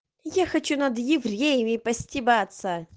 я хочу над евреями постебаться